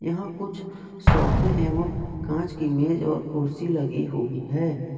यहां कुछ सोफे एवम कांच की इमेज और कुर्सी लगी हुई है।